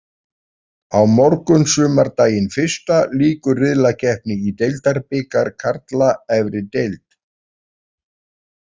Á morgun sumardaginn fyrsta lýkur riðlakeppni í deildabikar karla efri deild.